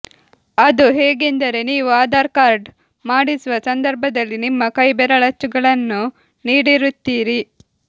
ಅದು ಹೇಗೆಂದರೆ ನೀವೂ ಆಧಾರ್ ಕಾರ್ಡ್ ಮಾಡಿಸುವ ಸಂದರ್ಭದಲ್ಲಿ ನಿಮ್ಮ ಕೈ ಬೆರಳುಗಳಚ್ಚನ್ನು ನೀಡಿರುತ್ತೀರಿ